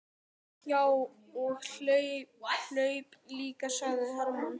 Já, og hleyp líka, sagði Hermann.